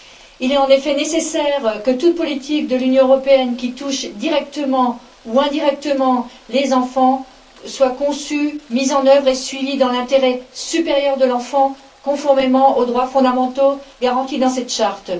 Il est en effet nécessaire que toute politique de l'Union européenne qui touche directement ou indirectement les enfants soit conçue, mise en œuvre et suivie dans l'intérêt supérieur de l'enfant, conformément aux droits fondamentaux garantis dans cette charte.